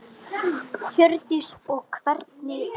Hjördís: Og hvernig gekk?